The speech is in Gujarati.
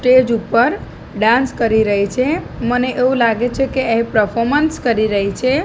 સ્ટેજ ઉપર ડાન્સ કરી રહી છે મને એવુ લાગે છે કે એ પ્રફોમન્સ કરી રહી છે.